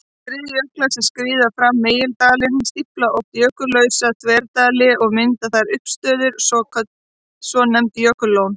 Skriðjöklar sem skríða fram megindali stífla oft jökullausa þverdali og mynda þar uppistöður, svonefnd jökullón.